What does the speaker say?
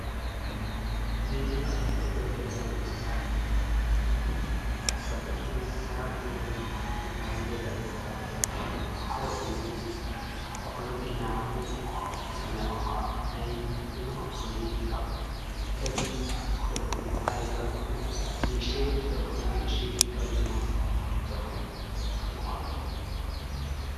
እዚ ኣብ ምስሊ እንርእዮ ዘለና እንስሳ ካብቶም እንስሳ ዘቤት ዝባህሉ ወይ ድማ ናይ ገዛ እንስሳታት ዝባህሉ ሓደ ኮይኑ ኩርኩር ኢልና ንፅውዖ ብትግርኛ ቋንቋ ናይ እዙይ ኩርኩር እዙይ ካብ ከልቢ ዝተወለደ ኮይኑ ዓሌት ከልቢ ኮይኑ ንእሽተይ ስለዝኮን ንእሽተይ ከልቢ ኩርኩር ተባሂሉ ይፅዋዕ።